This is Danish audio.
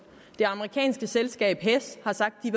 det amerikanske selskab hess har sagt